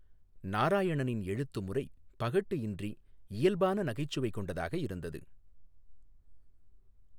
நாராயணனின் எழுத்துமுறை பகட்டு இன்றி இயல்பான நகைச்சுவை கொண்டதாக இருந்தது.